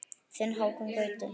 Þinn Hákon Gauti.